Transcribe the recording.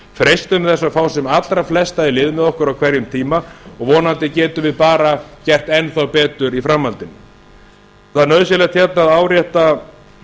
freistum þess að fá sem allra flesta í lið með okkur á hverjum tíma og vonandi getum við bara gert enn á betur í framhaldinu það er nauðsynlegt að árétta